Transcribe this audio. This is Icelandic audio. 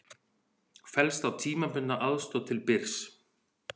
Fellst á tímabundna aðstoð til Byrs